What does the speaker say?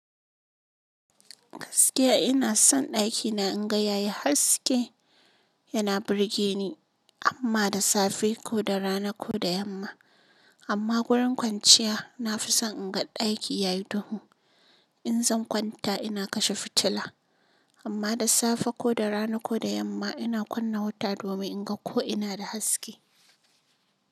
Gaskiya ina son ɗakina in ga yayi haske, yana burge ni amma da safe ko da rana ko da yamma. Amma wurin kwanciya na fi son in ga ɗaki yayi duhu. In zan kwanta ina kashe fitila amma da safe ko da rana ko da yamma ina kunna wuta domin in ga ko ina da haske.